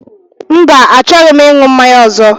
Mba, achọghị m ịṅụ mmanya ọzọ